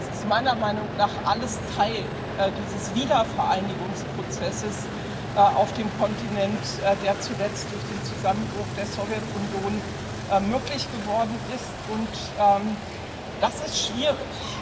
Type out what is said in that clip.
Es ist meiner Meinung nach alles Teil dieses Wiedervereinigungsprozesses auf dem Kontinent, der zuletzt durch den Zusammenbruch der Sowjetunion möglich geworden ist, und das ist schwierig.